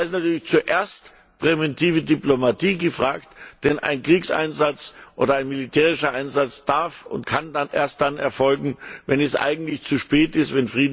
Und da ist natürlich zuerst präventive Diplomatie gefragt, denn ein Kriegseinsatz oder ein militärischer Einsatz darf und kann erst dann erfolgen, wenn es eigentlich zu spät ist, d.